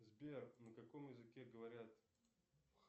сбер на каком языке говорят